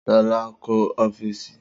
Sola kọ́ ọ́fíìsì